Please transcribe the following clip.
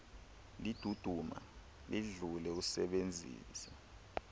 liduduma lidlule usebenzise